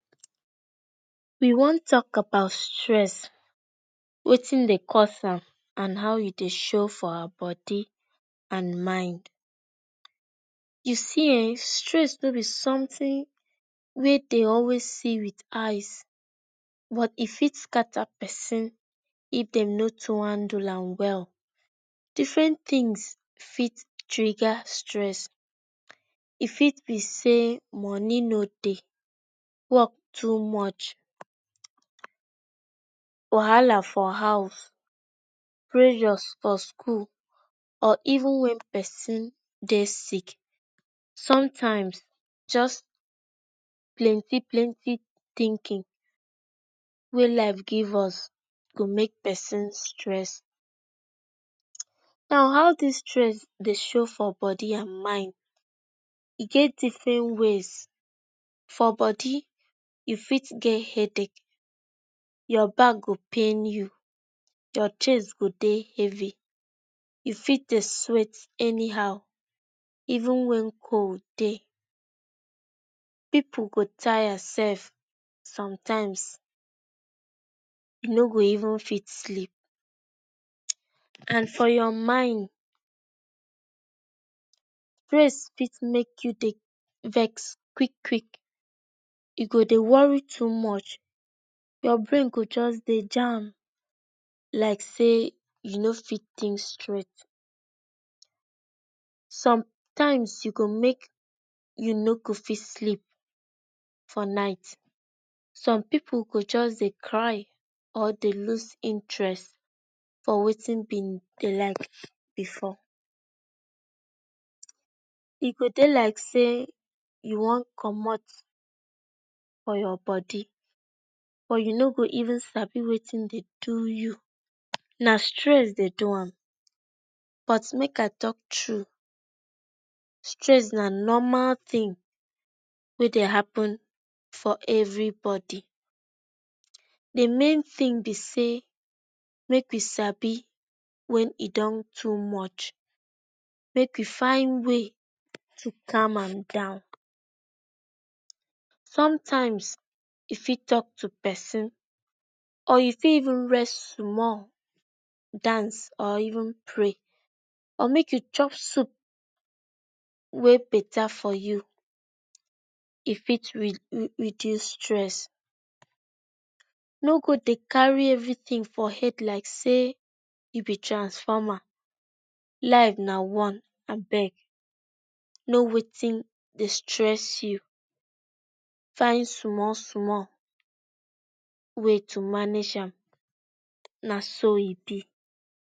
We wan tok about stress wetin dey cause am and how he dey show for our body and my U see[um]stress no be something wey dey always see with eye but e fit scatter person if dem no top handle am well different things fit triga stress e fit be say money no dey work too much wahala for house presyor for school pr even wen person dey sick sometimes just plenty plenty thinkin wey life give us go make person stress. Now how this stress they show for body and mind he get different ways for body u fit get headache your back go pain u ur chest go dey heavy u fit deu stress any how even wen cold dey people go tire self sometimes e no go even fit sleep and for ur mind stress make u vex quick kick kick u go dey worry too much ur brain go just dey jam like say u no fit think straight sometimes e go make u no go fit sleep for night some people go just dey cry or dey loose interest for wetin him dey like before e go dey like say u Wan comot for ur body or u no go even sabi wetin dey do u na stress dey do am. But make I talk Tru stress na normal thing wey dey apen for everybody the main tin be say make we sabi wen e don too much make we find way to calm am down.sometimes u fit talk to person or u fit even rest sumall dance or even play or make u chop soup wey beta for u e fit re reduce stress no go dey carry everything for head like say u be transformer life na one abeg know wetin dey stress u find sumall sumall way to manage am na so e be